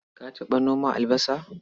Ka taɓa noma albasa?